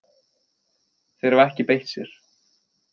Þeir hafa ekki beitt sér